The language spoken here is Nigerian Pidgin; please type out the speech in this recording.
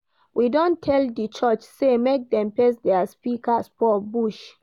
We don tell di church sey make dem face their speakers for bush.